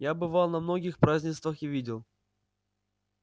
я бывал на многих празднествах и видел